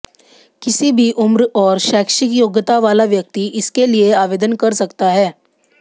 किसी भी उम्र और शैक्षिक योग्यता वाला व्यक्ति इसके लिए आवेदन कर सकता है